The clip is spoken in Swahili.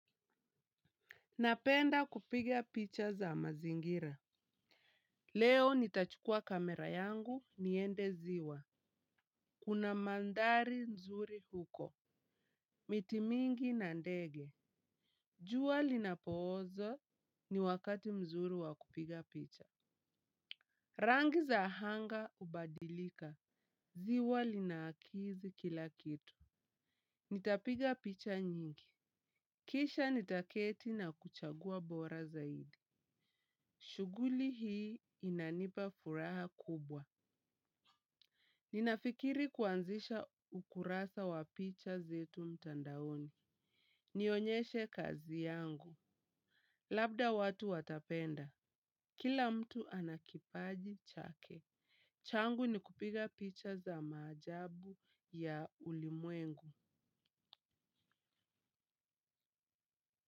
Napenda kupiga picha za mazingira. Leo nitachukua kamera yangu niende ziwa. Kuna mandhari nzuri huko. Miti mingi na ndege. Jua linapooza ni wakati mzuri wakupiga picha. Rangi za hanga hubadilika. Ziwa lina akisi kila kitu. Nitapiga picha nyingi. Kisha nitaketi na kuchagua bora zaidi. Shughuli hii inanipa furaha kubwa. Ninafikiri kuanzisha ukurasa wa picha zetu mtandaoni. Nionyeshe kazi yangu. Labda watu watapenda. Kila mtu anakipaji chake. Changu ni kupiga picha za maajabu ya ulimwengu.